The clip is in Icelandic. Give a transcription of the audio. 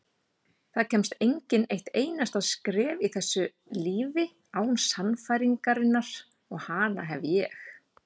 Það kemst enginn eitt einasta skref í þessu lífi án sannfæringarinnar og hana hef ég.